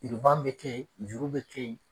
bɛ kɛ yen, juru bɛ kɛ yen